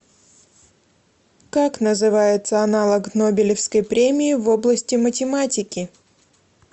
как называется аналог нобелевской премии в области математики